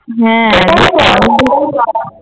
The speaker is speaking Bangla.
হ্যাঁ